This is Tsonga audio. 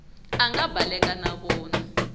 a nga baleka na vona